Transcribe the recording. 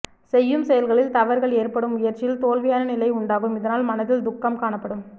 செய்யும் செயல்களில் தவறுகள் ஏற்படும் முயற்சியில் தோல்வியான நிலை உண்டாகும் இதனால் மனதில் துக்கம் காணப்படும்